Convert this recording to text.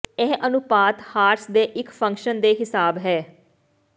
ਇਹ ਅਨੁਪਾਤ ਹਾਰਸ ਦੇ ਇੱਕ ਫੰਕਸ਼ਨ ਦੇ ਹਿਸਾਬ ਹੈ